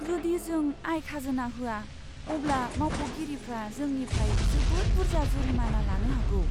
जुदि जों आय खाजोना होआ, अब्ला मावख'गिरिफ्रा जोंनिफ्राय जोबोद बुरजा जुरिमाना लानो हागौ।